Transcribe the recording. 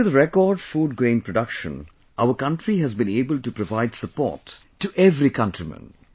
Due to the record food grain production, our country has been able to provide support to every countryman